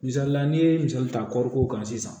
Misalila n'i ye misali ta kɔriko kan sisan